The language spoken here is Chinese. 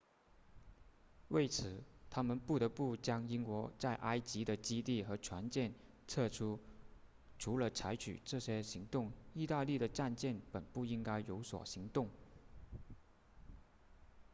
为此他们不得不将英国在埃及的基地和船舰撤出除了采取这些行动意大利的战舰本不应该有所行动